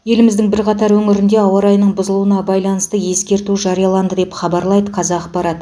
еліміздің бірқатар өңірінде ауа райының бұзылуына байланысты ескерту жарияланды деп хабарлайды қазақпарат